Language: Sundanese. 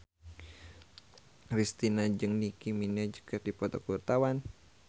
Kristina jeung Nicky Minaj keur dipoto ku wartawan